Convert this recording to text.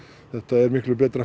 þetta er miklu betra